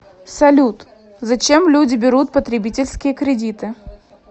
салют зачем люди берут потребительские кредиты